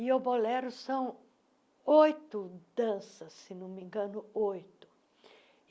E o bolero são oito danças, se não me engano, oito.